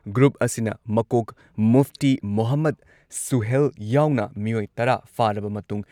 group ꯑꯁꯤꯅ ꯃꯀꯣꯛ ꯃꯨꯐꯇꯤ ꯃꯣꯍꯃꯗ ꯁꯨꯍꯦꯜ ꯌꯥꯎꯅ ꯃꯤꯑꯣꯏ ꯇꯔꯥ ꯐꯥꯔꯕ ꯃꯇꯨꯡ